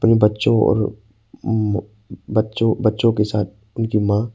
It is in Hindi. बच्चों और म बच्चों बच्चों के साथ उनकी मां--